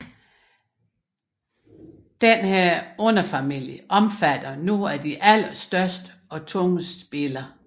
Denne underfamilie omfatter nogle af de allerstørste og tungeste biller